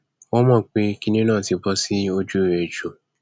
wọn mọ pé kinní náà ti bọ sójú ẹ jù